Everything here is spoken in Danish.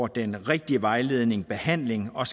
den rigtige vejledning og behandling og